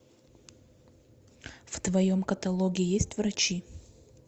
в твоем каталоге есть врачи